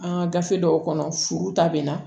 An ka gafe dɔw kɔnɔ furu ta bɛna